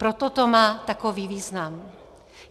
Proto to má takový význam.